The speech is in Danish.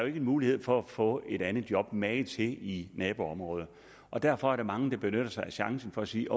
ikke en mulighed for at få et andet job magen til i naboområdet derfor er der mange der benytter sig af chancen for at sige